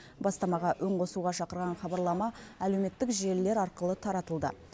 бастамаға үн қосуға шақырған хабарлама әлеуметтік желілер арқылы таратылды